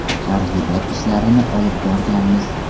Targ‘ibot ishlarini olib borganmiz.